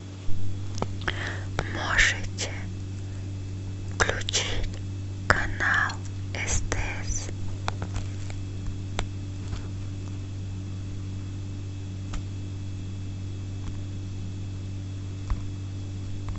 можете включить канал стс